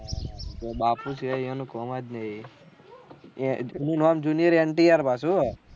એટલે બાપુ કેહ એનું કોમ જ નહી એ એનું નામ junior એન્ટીયાર પાછું હું હા